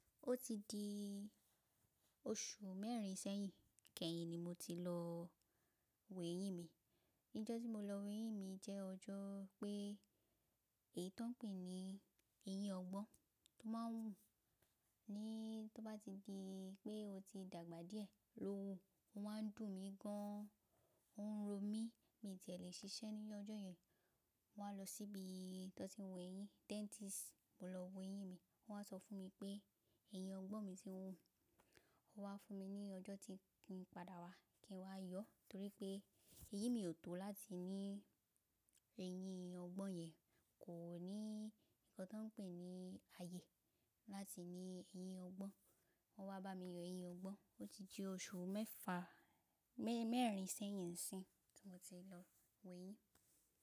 Ó ti di oṣù mẹ́rin sẹ́yìn kẹ́yìn ni mo ti lọ wo eyín mi. Ijọ́ tí mo lọ wo eyín mi jẹ́ ọjọ́ pé èyí tó ń pè ní eyín ọgbọ́n tó má ń hù ní tó bá ti di pé o ti dàgbà díẹ̀, ló hù. Ó ń wà dún mí gan an, ó ń ro mí, mi ti ẹ̀ lè ṣiṣẹ́ ní ọjọ́ yẹn. Mo wá lọ síbi t'ọ́n ti ń wo eyín, dentist mo lọ wo eyín mi. Ó wá sọ fún mi pé eyín ọgbọ́n mi ti ń hù, ó wá fún mi ní ọjọ́ tí n padà wá kí n wá yọ torí pé eyín mi ò tó láti ní eyín ọgbọ́n yẹn, kò ní nǹkan tó ń pè ní ààyè láti ní eyín ọgbọ́n. Wọ́n wá bá mi yọ eyín ọgbọ́n. Ó ti di oṣù mẹ́fa, mẹ́rin sẹ́yìn nsi tí mo ti lọ wo eyín.